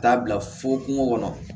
Taa bila fo kungo kɔnɔ